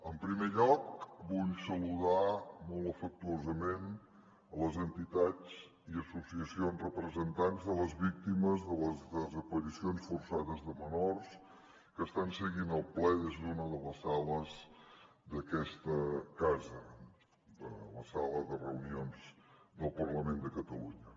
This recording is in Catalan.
en primer lloc vull saludar molt afectuosament les entitats i associacions representants de les víctimes de les desaparicions forçades de menors que estan seguint el ple des d’una de les sales d’aquesta casa de la sala de reunions del parlament de catalunya